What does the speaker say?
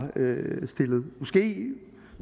stillet måske